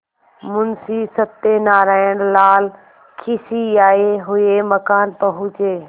मुंशी सत्यनारायणलाल खिसियाये हुए मकान पहुँचे